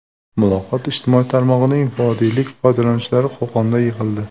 Muloqot ijtimoiy tarmog‘ining vodiylik foydalanuvchilari Qo‘qonda yig‘ildi.